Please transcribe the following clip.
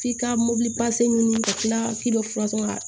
F'i ka mobili ɲini ka tila k'i bɛ fura sɔrɔ